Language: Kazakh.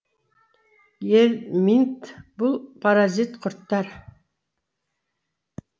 гельминт бұл паразит құрттар